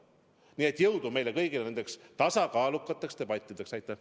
Nii et jõudu meile kõigile nendeks tasakaalukateks debattideks!